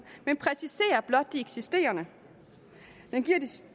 men præciserer blot de eksisterende det giver